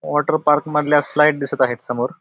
Water park मधल्या slide दिसत आहेत समोर.